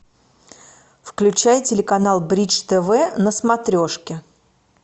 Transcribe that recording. включай телеканал бридж тв на смотрешке